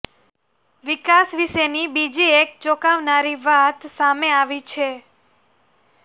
વિકાસ વિશેની બીજી એક ચોંકાવનારી વાત સામે આવી છે